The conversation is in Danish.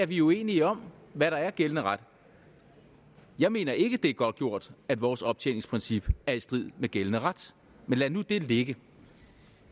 vi er uenige om hvad der er gældende ret jeg mener ikke at det er godtgjort at vores optjeningsprincip er i strid med gældende ret men lad nu det ligge